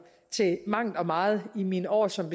til mangt og meget i mine år som